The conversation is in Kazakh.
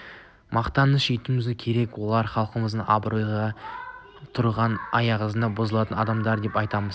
мақтаныш етуіміз керек олар халықтың абыройы ғой тұрған азғындаған бұзылған адамдар деп айтамын